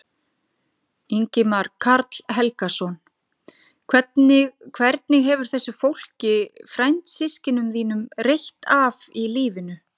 Ingimar Karl Helgason: Hvernig hefur þessu fólki, frændsystkinum þínum, reitt af í lífinu?